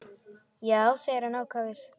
Já, segir hann ákafur.